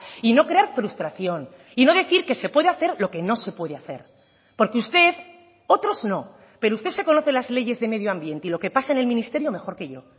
y no crear frustración y no decir que se puede hacer lo que no se puede hacer porque usted otros no pero usted se conoce las leyes de medio ambiente y lo que pasa en el ministerio mejor que yo